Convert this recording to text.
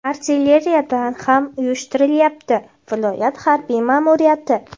artilleriyadan ham uyushtirilyapti – viloyat harbiy ma’muriyati.